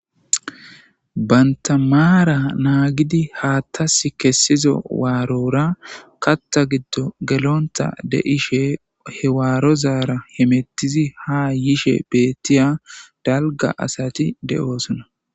bantamaara naagidi haattas kessizo waarora katta giddo gelonta de ishe hewaarozaara himettizi haa yishe beettiya dalga asati de7oosona